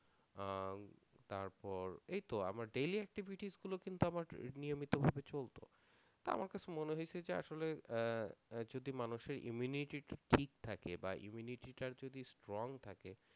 আহ উম তারপর এইতো আমার daily activities গুলো কিন্তু আমার নিয়মিত ভাবে চলতো তা আমার কাছে মনে হয়েছে যে আসলে আহ আহ যদি মানুষের immunity ঠিক থাকে বা immunity টা যদি strong থাকে